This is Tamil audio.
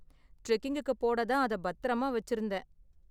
டிரெக்கிங்குக்கு போட தான் அத பத்திரமா வச்சிருந்தேன்.